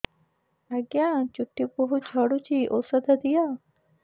ଆଜ୍ଞା ଚୁଟି ବହୁତ୍ ଝଡୁଚି ଔଷଧ ଦିଅ